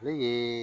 Ne ye